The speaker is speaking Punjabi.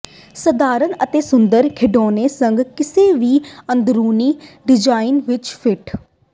ਸਧਾਰਨ ਅਤੇ ਸੁੰਦਰ ਖਿਡੌਣੇ ਸੰਗ ਕਿਸੇ ਵੀ ਅੰਦਰੂਨੀ ਡਿਜ਼ਾਇਨ ਵਿੱਚ ਫਿੱਟ